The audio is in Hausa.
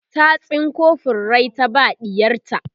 ta tsinko furrai ta ba ɗiyarta